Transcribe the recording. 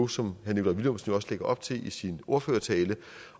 som herre nikolaj villumsen jo også lægger op til i sin ordførertale